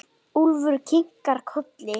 Úlfur kinkar kolli.